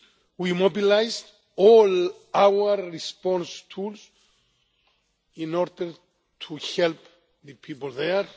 We mobilised all our response tools in order to help the people there.